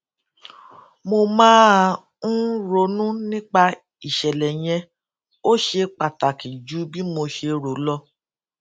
mo máa ń ronú nípa ìṣèlè yẹn ó ṣe pàtàkì ju bí mo ṣe rò lọ